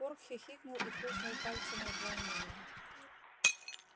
порк хихикнул и хрустнул пальцами от волнения